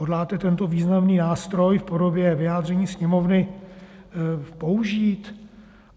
Hodláte tento významný nástroj v podobě vyjádření Sněmovny použít?